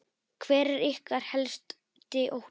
Hver er ykkar helsti ótti?